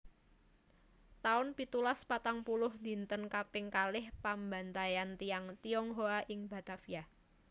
taun pitulas patang puluh Dinten kaping kalih pambantaian tiyang Tionghoa ing Batavia